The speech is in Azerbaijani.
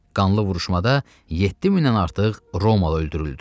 Qanlı vuruşmada 700-dən artıq Romalı öldürüldü.